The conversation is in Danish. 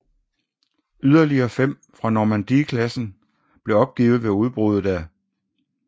Yderligere fem fra Normandie klassen blev opgivet ved udbruddet af 1